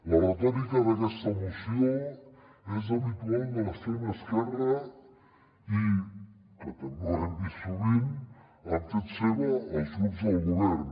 la retòrica d’aquesta moció és habitual de l’extrema esquerra i que també ho hem vist sovint l’han fet seva els grups del govern